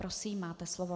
Prosím, máte slovo.